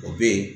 O bɛ yen